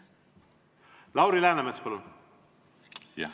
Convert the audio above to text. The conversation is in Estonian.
Lauri Läänemets, palun!